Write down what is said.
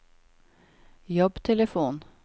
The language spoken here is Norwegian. jobbtelefon